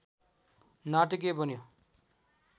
नाटकीय बन्यो